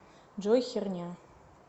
джой херня